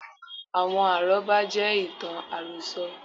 Àwọn àrọ́bá jẹ́ ìtàn àròso